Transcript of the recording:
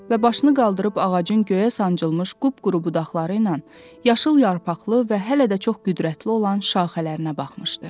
Və başını qaldırıb ağacın göyə sancılmış qup-quru budaqları ilə, yaşıl yarpaqlı və hələ də çox qüdrətli olan şaxələrinə baxmışdı.